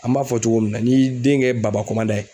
An b'a fɔ cogo min na, n'i y'i den kɛ baba kɔnmadan ye